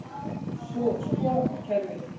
Sko kerfið.